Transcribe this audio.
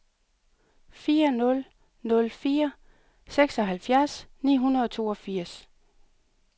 fire nul nul fire seksoghalvfjerds ni hundrede og toogfirs